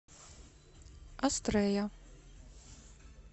астрея